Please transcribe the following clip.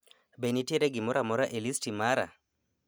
Be nitiere gimora amora e listi mara